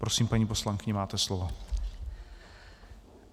Prosím, paní poslankyně, máte slovo.